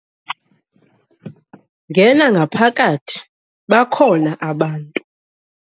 Ngena ngaphakathi bakhona abantu.